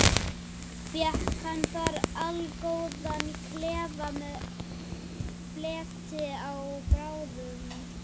Fékk hann þar allgóðan klefa með fleti og ábreiðum.